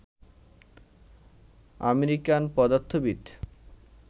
American পদার্থবিদ